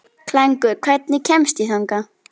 Klængur, hvernig kemst ég þangað?